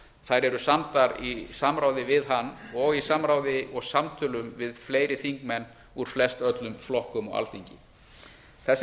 þær eru samdar í samráði við hann og í samráði og samtölum við fleiri þingmenn úr flestöllum flokkum á alþingi þessar